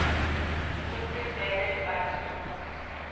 kutsi vele bantfu